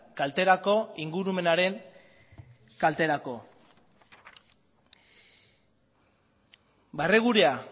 kalterako ingurumenaren kalterako barregurea